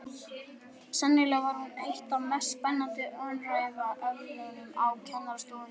Sennilega var hún eitt af mest spennandi umræðuefnunum á kennarastofunni.